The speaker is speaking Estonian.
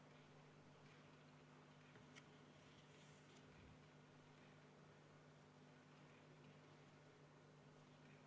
Kõik on korras.